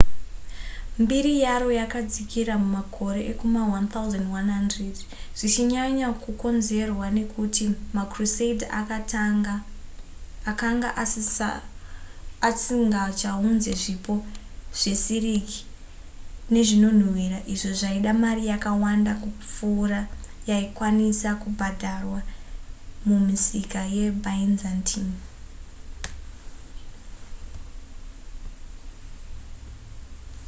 mbiri yaro yakadzikira makore ekuma1100 zvichinyanya kukonzerwa nekuti macrusader akanga asingachaunze zvipo zvesiriki nezvinonhuwira izvo zvaida mari yakawanda kupfuura yaikwanisa kubhadharwa mumisika yebyzantine